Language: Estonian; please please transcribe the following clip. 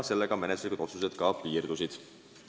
Sellega menetluslikud otsused piirdusid.